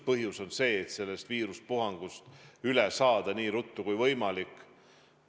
Põhjus on see, et sellest viiruspuhangust üle saada nii ruttu kui võimalik.